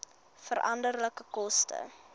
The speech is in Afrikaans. veranderlike koste